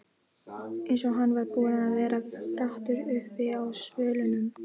Eins og hann var búinn að vera brattur uppi á svölunum.